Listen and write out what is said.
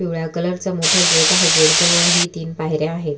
पिवळ्या कलर चा मोठ गेट आहे गेट जवळ हि तीन पायऱ्या आहे.